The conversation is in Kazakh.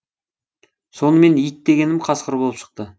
сонымен ит дегенім қасқыр болып шықты